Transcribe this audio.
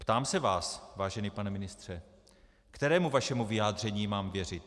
Ptám se vás, vážený pane ministře, kterému vašemu vyjádření mám věřit.